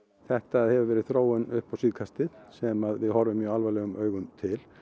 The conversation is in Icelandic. þetta hefur verið þróun upp á síðkastið sem við horfum mjög alvarlegum augum til